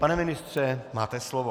Pane ministře, máte slovo.